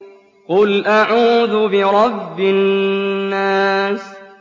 قُلْ أَعُوذُ بِرَبِّ النَّاسِ